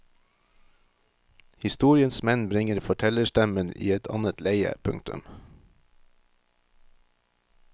Historiens menn bringer fortellerstemmen i et annet leie. punktum